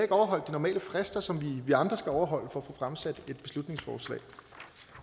overholdt de normale frister som vi andre skal overholde få fremsat et beslutningsforslag